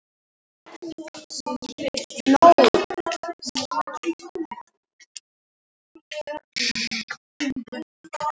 Einstaka tegundir voru tenntar en þegar fram liðu stundir hurfu þessar tennur.